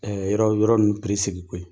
yɔrɔ yɔrɔ ninnu segin koyi.